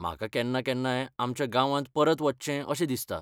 म्हाका केन्ना केन्नाय आमच्या गांवांत परत वचचें अशें दिसता.